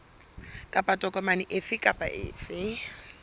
kapa tokomane efe kapa efe